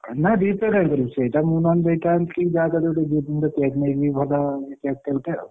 ନା Repay କାଇଁ କରିବୁ ସେଇଟା ମୁଁ ନହେଲେ ଦେଇଥାନ୍ତି ଯାହାକାରୀ ମୁଁ ଗୋଟେ gift ମୁଁ ଗୋଟେ ଭଲ cake ଟା ଗୋଟେ ଆଉ ହେଲା।